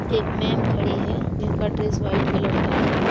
एक मेम खड़ी है जिनका ड्रेस व्हाइट कलर का है।